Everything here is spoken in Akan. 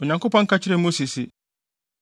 Onyankopɔn ka kyerɛɛ Mose se,